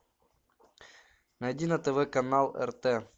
найди на тв канал рт